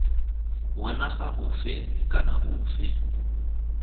wa naga ofe kana ofe